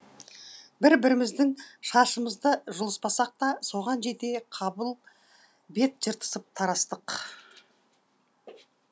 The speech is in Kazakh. бір біріміздің шашымызды жұлыспасақ та соған жете қабыл бет жыртысып тарастық